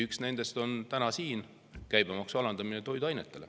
Üks nendest on täna siin: toiduainete käibemaksu alandamine.